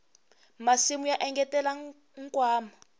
masimu ya engetela nkwama